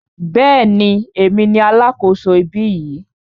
Bẹ́ẹ̀ni, èmi ni alákòso ibí yìí.